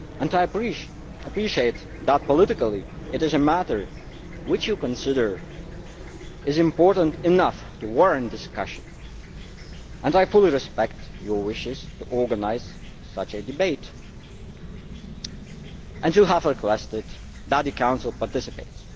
I appreciate that politically it is a matter which you consider important enough to warrant discussion and I fully respect your wishes to organise such a debate in which you have requested that the Council participates.